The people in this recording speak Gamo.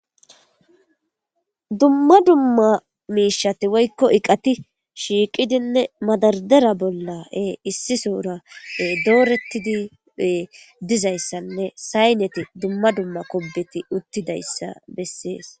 Dumma dumma miishshati woykko iqati shiiqidinne madardera bolla issi soora doorettidi dizayssanne sayneti dumma dumma kobbeti uttidayssa bessees.